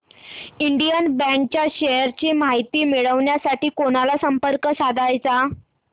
Indian bank च्या shares ची माहिती मिळविण्यासाठी कोणाला संपर्क साधायचा